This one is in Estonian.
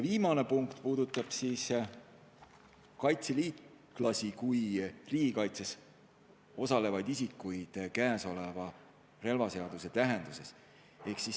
Viimane punkt puudutab kaitseliitlasi kui riigikaitses osalevaid isikuid praeguse relvaseaduse tähenduses.